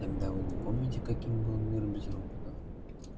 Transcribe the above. тогда вы не помните каким был мир без роботов